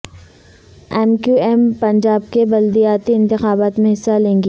M Q M Punjab کے بلدیاتی انتخابات میں حصہ لے گی